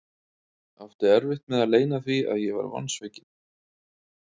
Átti erfitt með að leyna því að ég var vonsvikinn.